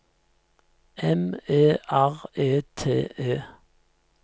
M E R E T E